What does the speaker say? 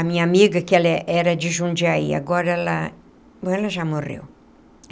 A minha amiga, que ela era de Jundiaí, agora ela agora ela já morreu.